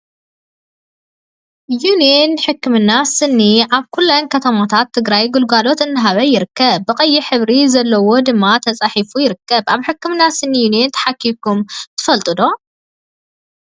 ዩኒየን ሕክምና ስኒ ኣብ ኩለን ከተማታት ትግራይ ግልጋሎት እናሃበ ይርከብ። ብቀይሕ ሕብሪ ዘለዎ ድማ ተፃሒፉ ይርከብ ። ኣብ ሕክምና ስኒ ዩኒየን ተሓኪምኩም ተፈልጡ ዶ?